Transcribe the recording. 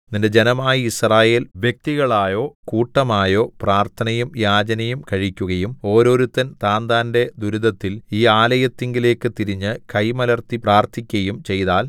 നിന്റെ ജനമായ യിസ്രായേൽ വ്യക്തികളായോ കൂട്ടമായോ പ്രാർത്ഥനയും യാചനയും കഴിക്കുകയും ഓരോരുത്തൻ താന്താന്റെ ദുരിതത്തിൽ ഈ ആലയത്തിങ്കലേക്ക് തിരിഞ്ഞ് കൈ മലർത്തി പ്രാർത്ഥിക്കയും ചെയ്താൽ